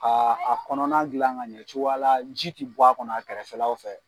Aa a kɔnɔna dilan ka ɲɛ cogoya la ji ti bɔ a kɔnɔ a kɛrɛfɛlaw fɛ.